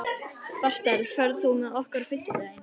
Bertel, ferð þú með okkur á fimmtudaginn?